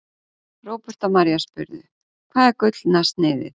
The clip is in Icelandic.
Róbert og María spurðu: Hvað er Gullna sniðið?